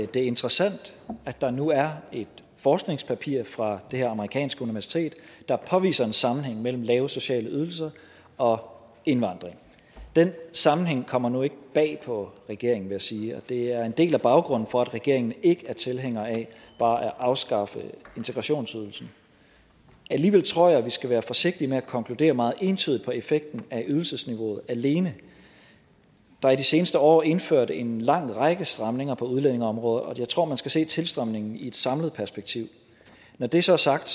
det er interessant at der nu er et forskningspapir fra det her amerikanske universitet der påviser en sammenhæng mellem lave sociale ydelser og indvandring den sammenhæng kommer nu ikke bag på regeringen vil jeg sige og det er en del af baggrunden for at regeringen ikke er tilhænger af bare at afskaffe integrationsydelsen alligevel tror jeg at vi skal være forsigtige med at konkludere meget entydigt på effekten af ydelsesniveauet alene der er de seneste år indført en lang række stramninger på udlændingeområdet og jeg tror at man skal se tilstrømningen i et samlet perspektiv når det så er sagt